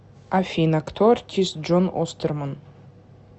афина кто артист джон остерман